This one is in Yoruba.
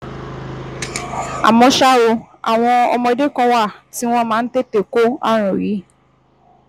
Àmọ́ ṣá o, àwọn ọmọdé kan wà tí wọ́n máa ń tètè kó ààrùn yìí